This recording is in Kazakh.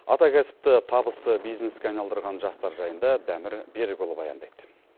атакәсіпті табысты бизнеске айналдырған жастар жайында дәмір берікұлы баяндайды